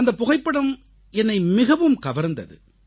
அந்தப் புகைப்படம் என்னை மிகவும் கவர்ந்தது